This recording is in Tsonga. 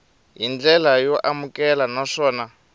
hi ndlela yo amukeleka naswona